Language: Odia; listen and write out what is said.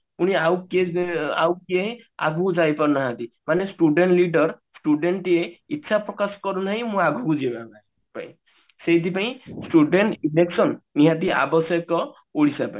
ପୁଣି ଆଉ କିଏ ଯେ ଆଉ କିଏ ଆଗକୁ ଯାଇ ପାରୁନାହାନ୍ତି ମାନେ student leader student ଇଚ୍ଛା ପ୍ରକାଶ କରୁନାହିଁ ମୁଁ ଆଗକୁ ଯିବାପାଇଁ ସେଇଥିପାଇଁ student election ନିହାତି ଆବଶ୍ୟକ ଓଡିଶା ପାଇଁ